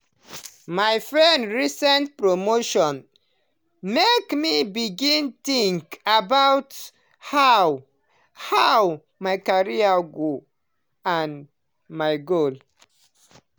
my friend recent promotion make me begin think about how how my career dey go and my goals.